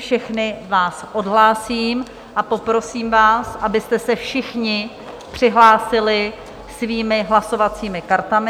Všechny vás odhlásím a poprosím vás, abyste se všichni přihlásili svými hlasovacími kartami.